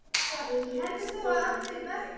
Nýir tímar tóku við.